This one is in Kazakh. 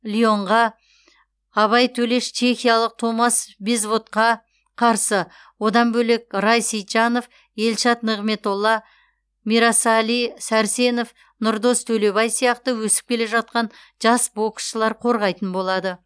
леонға абай төлеш чехиялық томас безводқа қарсы одан бөлек рай сейтжанов елшат нығметолла мирасали сәрсенов нұрдос төлебай сияқты өсіп келе жатқан жас боксшылар қорғайтын болады